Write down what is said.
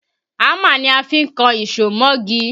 Hámà ni a fi ń kan ìṣó mọ́gi